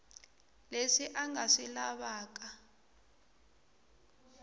leswi a nga swi lavaka